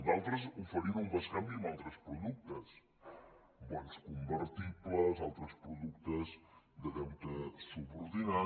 d’altres oferien un bescanvi amb al·tres productes bons convertibles altres productes de deute subordinat